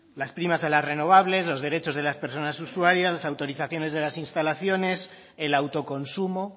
las primas de las renovables los derechos de las personas usuarias las autorizaciones de las instalaciones el autoconsumo